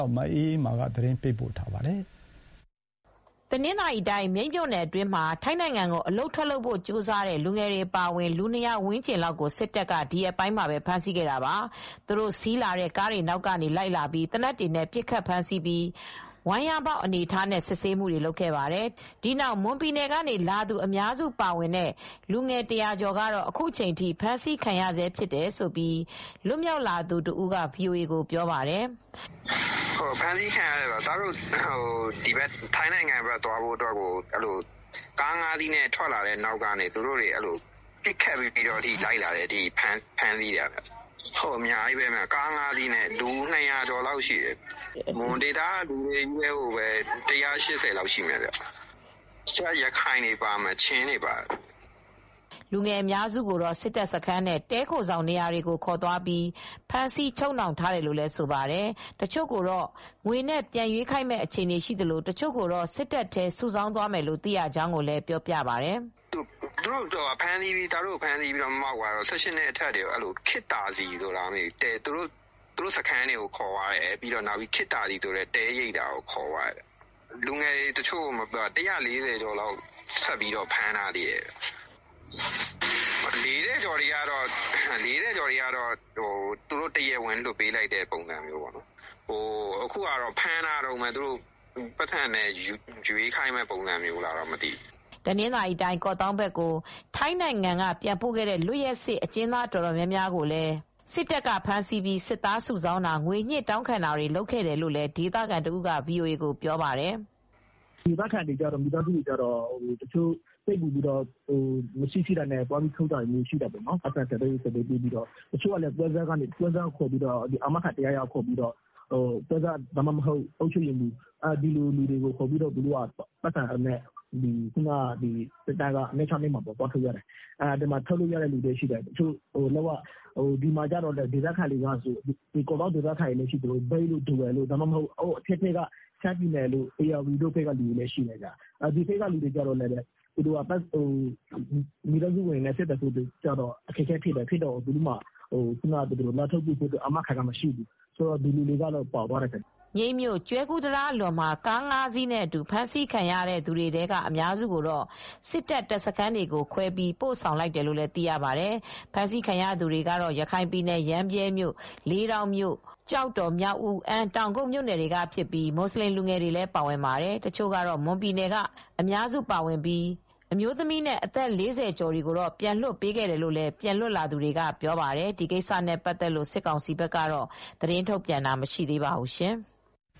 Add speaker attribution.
Speaker 1: ောက် မအေးအေးမာက သတင်းပေးပို့ထားပါတယ်။
Speaker 2: တနင်္သာရီတိုင်း မြိတ်မြို့နယ်အတွင်းမှာ ထိုင်းနိုင်ငံကိုအလုပ်ထွက်လုပ်ဖို့ကြိုးစားတဲ့ လူငယ်တွေ အပါအဝင်လူ ၂၀၀ ဝန်းကျင်လောက်ကို စစ်တပ်က ဒီရက်ပိုင်းမှာပဲ ဖမ်းဆီးခဲ့ပါတယ်။ စစ်တပ်က ကားတွေနောက်ကလိုက်လာပြီး သေနတ်တွေနဲ့ပစ်ခတ်ဖမ်းဆီးပြီး ဝမ်းလျားမှောက်ခိုင်းထားပြီး စစ်ဆေးခဲ့ပါတယ်။ အဖမ်းခံရသူ ၂၀၀ ဝန်းကျင်အနက် မွန်ပြည်နယ်ကလာသူအများစုပါတဲ့လူငယ် ၁၀၀ ကျော်ကတော့ အခုချိန်ထိဖမ်းဆီးခံရဆဲဖြစ်တယ်လို့ လွတ်မြောက်လာသူတဦးက VOAကိုပြောပါတယ်။
Speaker 3: "ဖမ်းဆီးခံရတာကတော့ ထိုင်းနိုင်ငံကိုသွားဖို့အတွက် ကားငါးစီးနဲ့ထွက်လာတာကို ပစ်ခတ်ပြီး နောက်ကလိုက်လာတာ။အများကြီးပဲ လူ ၂၀၀ ကျော်လောက်ရှိတယ်။ မွန်ဒေသကလူတွေချည်းပဲ ၁၈၀ လောက်ရှိတယ်။ တခြားက ရခိုင်တွေပါတယ်။ ချင်းတွေလည်း ပါတယ်။
Speaker 2: " လူငယ်အများစုကို စစ်တပ်စခန်းနဲ့ တည်းခိုဆောင်နေရာကိုခေါ်သွားပြီး ဖမ်းဆီးချုပ်နှောင်ထား တယ်လို့ ဆိုပါတယ် ။တချို့ကို ငွေနဲ့ပြန်ရွေးခိုင်းမယ့်အခြေအနေရှိသလို တချို့ကိုတော့ စစ်သားအဖြစ် စုဆောင်းသွားမယ်လို့သိရကြောင်းကိုလည်းပြောပြပါတယ်။
Speaker 3: "ကျနော်တို့ကိုဖမ်းဆီးပြီးတဲ့နောက် ၁၈ နှစ်အထက်တွေကိုတော့ ခေတ်သာစည်ဆိုတာ တည်းခိုဆောင် လား မသိဘူး။အဲဒီနေရာကိုခေါ်သွားတာလည်းရှိတယ်။ သူတို့စခန်းကိုလည်း ခေါ်သွားတယ်။ လူငယ် တွေ ၁၄၀ ကျော်လောက်ဖမ်းထားသေးတယ်။ အသက် ၄၀ ကျော်တွေကတော့ တရားဝင်လွှတ်ပေး လိုက်တယ်။ အခုကလူငယ်တွေကိုဖမ်းထားတုန်းပဲ။ သူနဲ့ငွေနဲ့ရွေးခိုင်းမလားတော့ မသိဘူး။"
Speaker 2: တနင်္သာရီတိုင်း ကော့သောင်းဘက်ကို ထိုင်းနိုင်ငံဘက်ကနေပြန်ပို့ခဲ့တဲ့ လွတ်ရက်စေ့အကျဉ်းသား အတော်များများကိုလည်း စစ်တပ်ကဖမ်းဆီးပြီး စစ်သားစုဆောင်းတာ၊ ငွေညှစ်တောင်းခံတာတွေ ရှိတယ်လို့ ဒေသခံတဦးလည်း VOAကိုပြောပါတယ်။
Speaker 1: "ဒေသခံမိသားစုတွေက မရှိ,ရှိတာပေါင်နှံပြီး သွားထုတ်တာရှိတယ်။ တချို့ကလည်း ပွဲစားတွေ အာမခံတယောက်ယောက် ခေါ်သွားတယ်။ ပွဲစား ဒါမှမဟုတ် အုပ်ချုပ်ရေးမှူးဖြစ်ဖြစ်ခေါ်သွားပြီး စစ်တပ်စခန်း ၂၆၂ မှာသွားထုတ်ကြတယ်။ ထုတ်ရတဲ့လူရှိသလို ကော့သောင်းဒေသခံတွေလည်း ရှိသလို အထက်ဘက် ရှမ်းပြည်တို့၊ ဧရာဝတီတို့ဘက်ကလူတွေကတော့ မိသားစုတွေနဲ့ အဆက်အသွယ် ပြတ်တော့ အခက်အခဲရှိတယ်။ အာမခံနိုင်တဲ့သူမရှိ၊ လာထုတ်နိုင်တဲ့သူမရှိဘူး။ အဲဒီလူတွေကတော့ ပါသွားကြတယ်။
Speaker 2: " မြိတ်မြို့၊ ကျွဲကူးတံတားအလွန်မှာ ကား ၅ စီးကနေ ဖမ်ဆီးခံရသူတွေထဲက အများစုကို စစ်တပ် တပ်စခန်းတွေကိုခွဲပြီး ပို့လိုက်ကြောင်းသိရပါတယ်။ ဖမ်းဆီးခံရတဲ့သူတွေကတော့ ရခိုင်ပြည်၊ ရမ်းဗြဲမြို့ ၊ လေးတောင်မြို့၊ ကျောက်တော်၊ မြောက်ဦး၊ အမ်း၊ တောင်ကုတ်မြို့နယ်တွေကဖြစ်ပြီး မူဆလင်လူငယ်တွေလည်းပါဝင်ပါတယ်။ ဒီတခေါက်ဖမ်းဆီးမှုမှာ မွန်ပြည်နယ်ကအများစုပါဝင်ပြီး အမျိုးသမီးနဲ့ အသက် ၄၀ ကျော်တွေကိုတော့ပြန်လွှတ်ပေးခဲ့တယ်လို့ လည်း ပြန်လွတ်လာသူတွေကပြောပါတယ်။ ဒီကိစ္စနဲ့ပတ်သက်လို့ စစ်ကောင်စီဘက်က သတင်းထုတ်ပြန်တာတော့မရှိသေးပါဘူး။